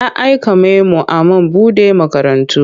Ya aika memo a man buɗe makarantu.